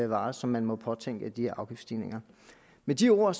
varer som man må påtænke i de her afgiftsstigninger med de ord